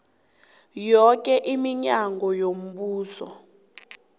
yoke iminyango yombuso